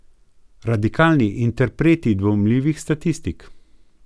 Radikalni interpreti dvomljivih statistik.